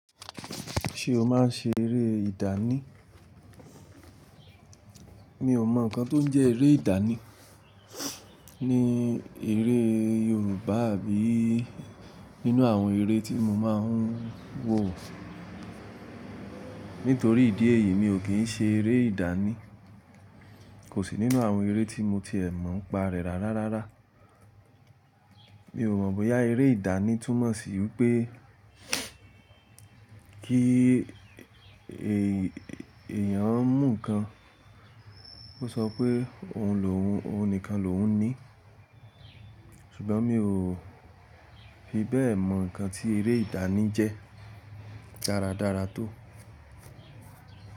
Ṣé o máa ń ṣe eré ìdánì? Mi ò mọ̀ nǹkan tó ń jẹ́ eré ìdánì ní ère Yorùbá àbí nínú àwọn eré tí mo máa ń wò. Nítorí ìdí èyí, mi ò kí ń ṣe eré ìdánì. Kò sí nínú àwọn eré tí mo ti è mọ̀ ń pa rẹ̀ rárá rárá. Mi ò mọ̀ bóyá eré ìdánì túmọ̀ sí wípé kí èèyàn mú nǹkan, ó sọ pé òun lòún, òun nìkan lòún ní. Ṣùgbọ́n mi ò fi bẹ́ẹ̀ mọ̀ nǹkan tí eré ìdánì jẹ́ dáradára tó.